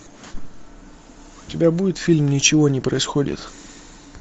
у тебя будет фильм ничего не происходит